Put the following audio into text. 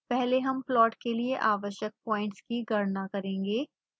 पहले हम प्लॉट के लिए आवश्यक प्वाइंट्स की गणना करेंगे